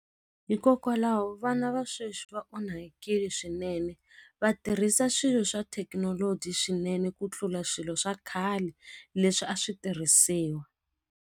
Hikokwalaho vana va sweswi va onhakile swinene vatirhisa swilo swa thekinoloji swinene ku tlula swilo swa khale leswi a swi tirhisiwa.